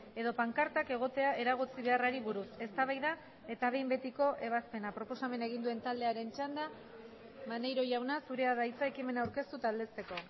edo pankartak egotea eragotzi beharrari buruz eztabaida eta behin betiko ebazpena proposamena egin duen taldearen txanda maneiro jauna zurea da hitza ekimena aurkeztu eta aldezteko